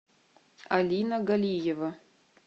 алина галиева